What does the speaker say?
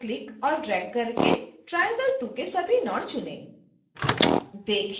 mouse को click और drag करके triangle2 के सभी नोड चुनें